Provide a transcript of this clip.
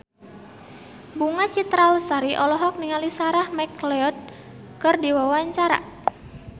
Bunga Citra Lestari olohok ningali Sarah McLeod keur diwawancara